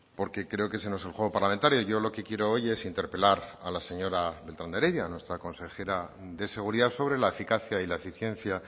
porque creo que ese no es el juego parlamentario yo lo que quiero hoy es interpelar a la señora beltran de heredia nuestra consejera de seguridad sobre la eficacia y la eficiencia